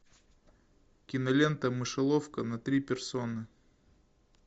кинолента мышеловка на три персоны